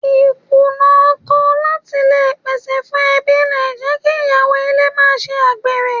Ì Kùnà ọkọ láti le pèsè fún ẹbí le jẹ́ kí Ìyàwó ilé máa ṣe àgbèrè.